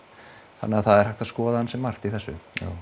þannig að það er hægt að skoða ansi margt í þessu